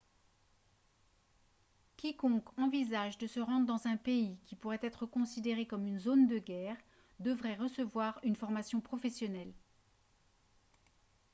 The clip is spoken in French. quiconque envisage de se rendre dans un pays qui pourrait être considéré comme une zone de guerre devrait recevoir une formation professionnelle